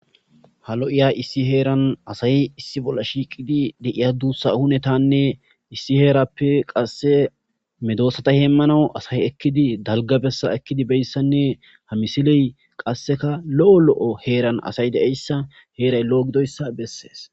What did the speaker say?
ha lo7iya issi heeran asayi issi bolla shiiqidi deiya duussa hunetanne issi heerappe qasse medoosata heemmanau asayi ekkidi dalgabessa ekkidi beyssanne ha misiley qasseka lo7o lo7o heeran asay deeyssa heeray lo7o gidoyssa bessees